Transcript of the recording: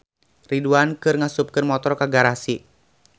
Ridwan keur ngasupkeun motor ka garasi